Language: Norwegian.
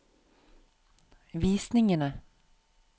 visningene